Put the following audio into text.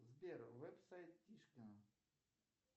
сбер веб сайт тишкина